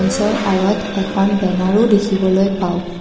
ওচৰ আঁৰত এখন বেনাৰো দেখিবলৈ পাওঁ।